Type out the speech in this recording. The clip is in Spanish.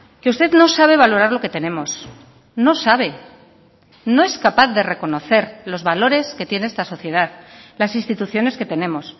que usted no sabe valorar lo que tenemos no sabe no es capaz de reconocer los valores que tiene esta sociedad las instituciones que tenemos